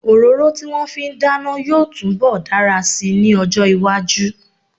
Òróró tí wọ́n fi ń dáná yóò túnbọ̀ dára si ní ọjọ́-iwájú.